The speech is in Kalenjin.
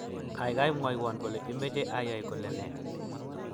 gaigai, mwowon kole imeche iyay kole ne?